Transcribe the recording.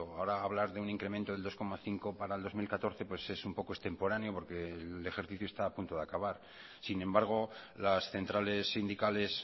ahora hablar de un incremento del dos coma cinco para el dos mil catorce es un poco extemporáneo porque el ejercicio está a punto de acabar sin embargo las centrales sindicales